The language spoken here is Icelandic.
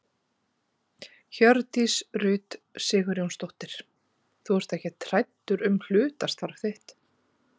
Hjördís Rut Sigurjónsdóttir: Þú ert ekkert hræddur um hlutastarfið þitt?